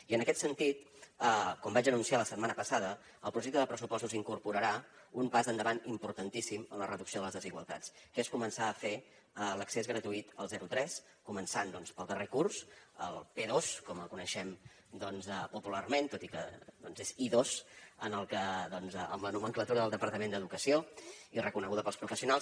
i en aquest sentit com vaig anunciar la setmana passada el projecte de pressupostos incorporarà un pas endavant importantíssim en la reducció de les desigualtats que és començar a fer a l’accés gratuït al zero tres començant doncs pel darrer curs el p2 com el coneixem popularment tot i que és i2 amb la nomenclatura del departament d’educació i reconeguda pels professionals